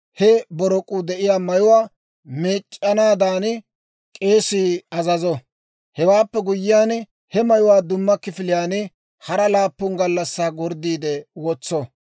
he borok'uu de'iyaa mayuwaa meec'c'anaadan k'eesii azazo. Hewaappe guyyiyaan, he mayuwaa dumma kifiliyaan hara laappun gallassaa gorddiide wotso.